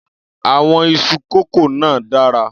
Àwọn iṣu kọ́kó náà dára.